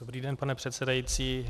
Dobrý den, pane předsedající.